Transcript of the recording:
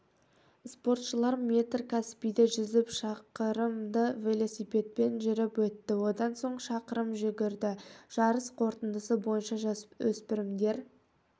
спортшылар метр каспийде жүзіп шақырымды велосипедпен жүріп өтті одан соң шақырым жүгірді жарыс қортындысы бойынша жасөспірімдер